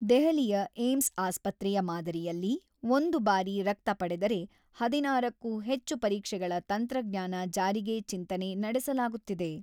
ದೆಹಲಿಯ ಏಮ್ಸ್ ಆಸ್ಪತ್ರೆಯ ಮಾದರಿಯಲ್ಲಿ ಒಂದು ಬಾರಿ ರಕ್ತ ಪಡೆದರೆ ಹದಿನಾರ ಕ್ಕೂ ಹೆಚ್ಚು ಪರೀಕ್ಷೆಗಳ ತಂತ್ರಜ್ಞಾನ ಜಾರಿಗೆ ಚಿಂತನೆ ನಡೆಸಲಾಗುತ್ತಿದೆ.